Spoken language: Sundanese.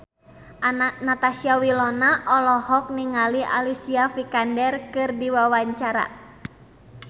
Natasha Wilona olohok ningali Alicia Vikander keur diwawancara